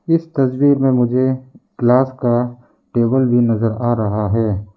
इस तस्वीर में मुझे ग्लास का टेबल भी नजर आ रहा है।